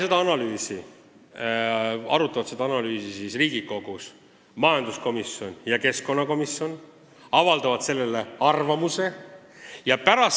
Seda analüüsi arutavad Riigikogus majanduskomisjon ja keskkonnakomisjon ning avaldavad oma arvamuse.